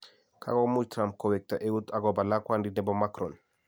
Kagomu Trump kowekta euut akobo lakwandit nebo macron